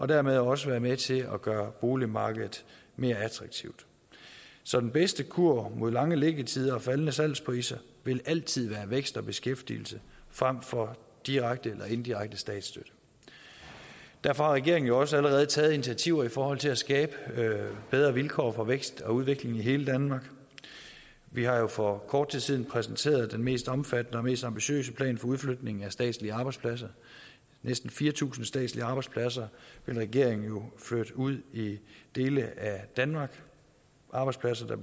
dermed også være med til at gøre boligmarkedet mere attraktivt så den bedste kur mod lange liggetider og faldende salgspriser vil altid være vækst og beskæftigelse frem for direkte eller indirekte statsstøtte derfor har regeringen jo også allerede taget initiativer i forhold til at skabe bedre vilkår for vækst og udvikling i hele danmark vi har jo for kort tid siden præsenteret den mest omfattende og mest ambitiøse plan for udflytning af statslige arbejdspladser næsten fire tusind statslige arbejdspladser vil regeringen flytte ud i dele af danmark arbejdspladser der